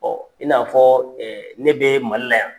i n'a fɔɔ ne bee Mali la yan.